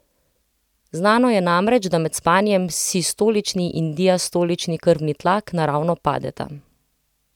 Znano je namreč, da med spanjem sistolični in diastolični krvni tlak naravno padeta.